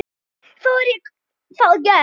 Þá er það gert.